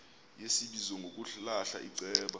yesibizo ngokulahla iceba